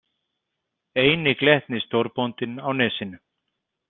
Eini glettni stórbóndinn á Nesinu.